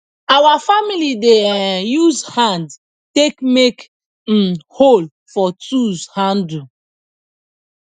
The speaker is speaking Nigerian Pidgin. our family dey um use hand take make um hole for tools handle